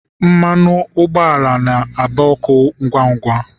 mmanụ ụgbọala na aba ọkụ ngwa ngwa